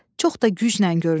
Çox da güclə görünür.